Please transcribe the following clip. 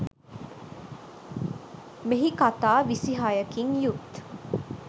මෙහි කතා විසි හයකින් යුත්